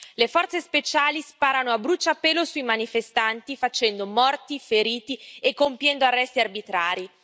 Le forze speciali sparano a bruciapelo sui manifestanti facendo morti, feriti e compiendo arresti arbitrari.